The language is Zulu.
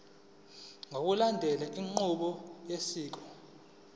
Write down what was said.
ngokulandela inqubo yosiko